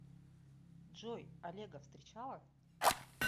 джой олега встречала